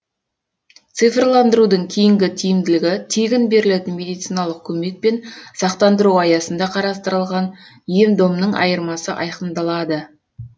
цифрландырудың кейінгі тиімділігі тегін берілетін медициналық көмек пен сақтандыру аясында қарастырылған ем домның айырмасы айқындалады